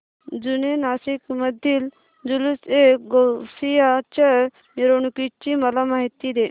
जुने नाशिक मधील जुलूसएगौसिया च्या मिरवणूकीची मला माहिती दे